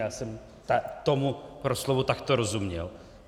Já jsem tomu proslovu takto rozuměl.